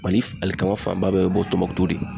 Mali alikama fanba bɛɛ be bɔ tɔnbukutu de.